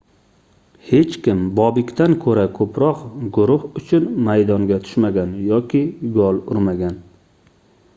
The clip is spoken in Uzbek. hech kim bobekdan koʻra koʻproq guruh uchun maydonga tushmagan yoki gol urmagan